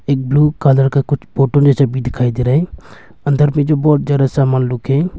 एक blue colour का कुछ फोटो ये सब भी दिखाई दे रहा है अंदर में जो बहौत ज्यादा सामान लोग है।